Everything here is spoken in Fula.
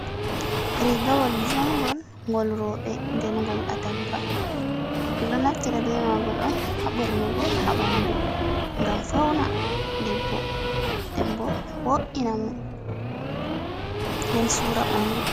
Riigawol jungol ngol roɓe nden gol atamba, ɗum ɗo naftira be mangol on ha ɓornugo ha ɓandu, ngam fauna debbo nden bo wo’ina mo nden sura ɓandu.